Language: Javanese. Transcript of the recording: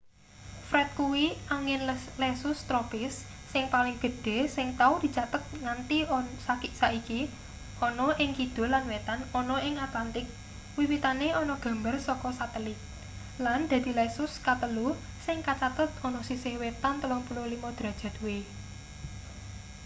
fred kuwi angin lesus tropis sing paling gedhe sing tau dicathet nganti saiki ana ing kidul lan wetan ana ing atlantik wiwitane ana gambar saka sateli lan dadi lesus katelu sing kacathet ana sisih wetan 35°w